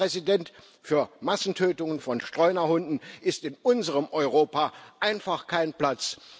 Herr Präsident, für Massentötungen von Streunerhunden ist in unserem Europa einfach kein Platz.